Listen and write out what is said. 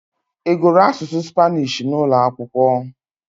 Ị gụrụ asụsụ Spanish n'ụlọ akwụkwọ?